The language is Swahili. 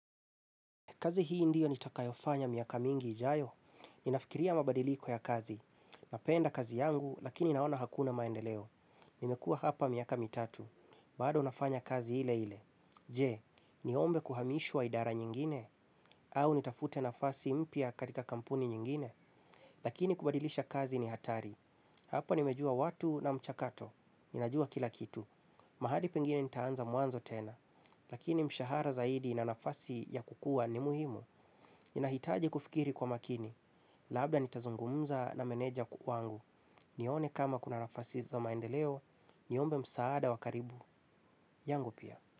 Kazi hii ndiyo nitakayofanya miaka mingi ijayo. Ninafikiria mabadiliko ya kazi. Napenda kazi yangu, lakini naona hakuna maendeleo. Nimekua hapa miaka mitatu. Bado nafanya kazi ile ile. Je, niombe kuhamishwa idara nyingine? Au nitafute nafasi mpya katika kampuni nyingine? Lakini kubadilisha kazi ni hatari. Hapa nimejua watu na mchakato. Ninajua kila kitu. Mahali pengine nitaanza mwanzo tena. Lakini mshahara zaidi na nafasi ya kukua ni muhimu. Ninahitaji kufikiri kwa makini. Labda nitazungumza na meneja wangu. Nione kama kuna nafasi za maendeleo. Niombe msaada wa karibu. Yangu pia.